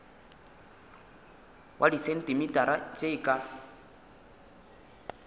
wa disentimetara tše e ka